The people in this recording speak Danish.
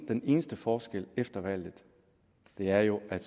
den eneste forskel efter valget er jo at